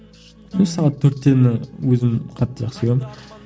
өзі сағат төрттені өзім қатты жақсы көремін